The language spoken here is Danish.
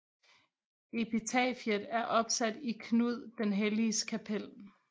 Epitafiet er opsat i Knud den Helliges kapel